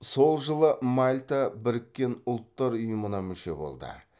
сол жылы мальта біріккен ұлттар ұйымына мүше болды